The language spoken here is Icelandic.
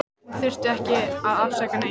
Hún þurfti ekki að afsaka neitt.